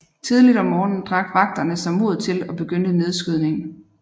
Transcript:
Tidligt om morgenen drak vagterne sig mod til og begyndte nedskydningen